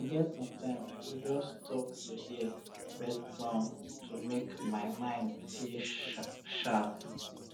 e get sometime i go just stop to hear um bird sound to make um my um mind dey mind dey sharp